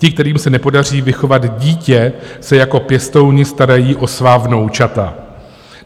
Ti, kterým se nepodaří vychovat dítě, se jako pěstouni starají o svá vnoučata.